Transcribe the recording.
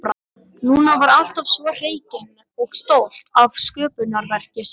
Lúna var alltaf svo hreykin og stolt af sköpunarverki sínu.